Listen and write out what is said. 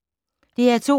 DR2